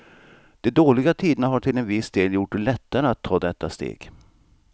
De dåliga tiderna har till en viss del gjort det lättare att ta detta steg.